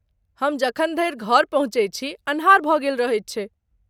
हम जखन धरि घर पहुँचैत छी अन्हार भऽ गेल रहैत छै।